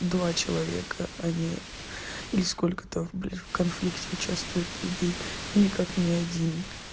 два человека они или сколько-то в конфликте участвуют людей но никак не один